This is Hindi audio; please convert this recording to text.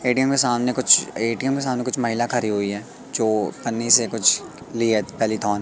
ए_टी_एम में सामने कुछ ए_टी_एम में सामने कुछ महिला खड़ी हुई है जो पानी से कुछ लिए --